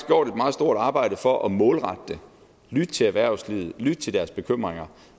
meget stort arbejde for at målrette det lyttet til erhvervslivet lyttet til deres bekymringer